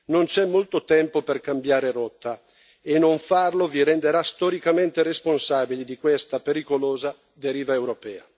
Non c'è molto tempo per cambiare rotta e non farlo vi renderà storicamente responsabili di questa pericolosa deriva europea.